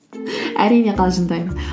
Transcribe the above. әрине қалжыңдаймын